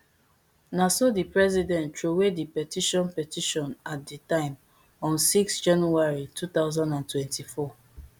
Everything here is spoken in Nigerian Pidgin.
na so di president throway di petition petition at di time on six january two thousand and twenty-four